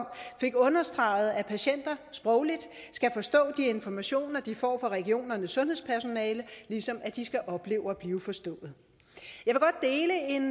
fik understreget at patienter sprogligt skal forstå de informationer de får fra regionernes sundhedspersonale ligesom de skal opleve at blive forstået